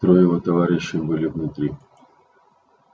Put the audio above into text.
трое его товарищей были внутри